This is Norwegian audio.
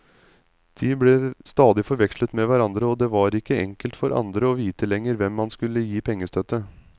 De ble stadig forvekslet med hverandre, og det var ikke enkelt for andre å vite lenger hvem man skulle gi pengestøtte.